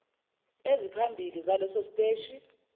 eziphambili zaleso siteshi